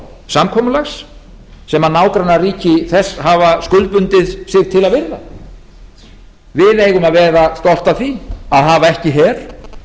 samkomulags sem nágrannaríki þess hafa skuldbundið sig til að virða við eigum að vera stolt af því að hafa ekki her